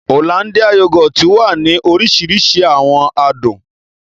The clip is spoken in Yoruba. Ọ̀lándìà yògòtì wà ni òrìṣirìṣi awọn àdùn